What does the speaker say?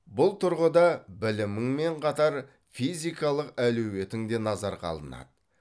бұл тұрғыда біліміңмен қатар физикалық әлеуетің де назарға алынады